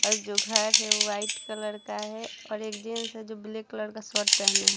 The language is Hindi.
और जो घर है वो वाइट कलर का है और एक जेंट्स है जो ब्लैक कलर का शर्ट पहने हैं।